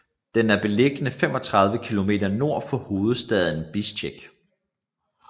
Den er beliggende 35 km nord for hovedstaden Bisjkek